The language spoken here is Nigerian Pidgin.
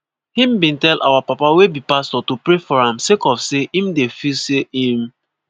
"im bin tell our papa wey be pastor to pray for am sake of say im dey feel say im